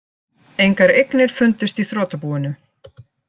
Engar eignir fundust í þrotabúinu